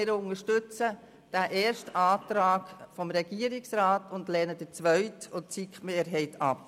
Wir unterstützen den ersten Antrag des Regierungsrats und lehnen den zweiten Antrag sowie die SiK-Mehrheit ab.